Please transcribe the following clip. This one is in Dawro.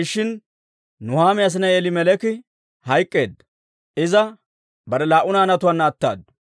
Nuhaami asinay Elimeleeki hayk'k'eedda. Iza bare laa"u naanatuwaan attaddu.